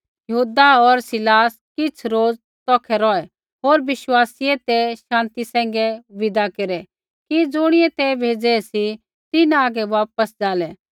यहूदा होर सिलास किछ़ रोज़ तौखै रौहै होर विश्वासीयै तै शान्ति सैंघै विदा हुऐ कि ज़ुणियै ते भेज़ै सी ते तिन्हां हागै वापस ज़ालै